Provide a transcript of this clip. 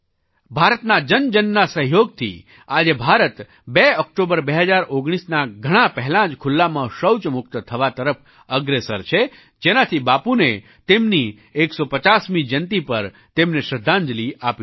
ભારતના જનજનના સહયોગથી આજે ભારત 2 ઑક્ટોબર 2019ના ઘણા પહેલાં જ ખુલ્લામાં શૌચ મુક્ત થવા તરફ અગ્રેસર છે જેનાથી બાપુને તેમની 150મી જયંતી પર તેમને શ્રદ્ધાંજલી આપી શકાય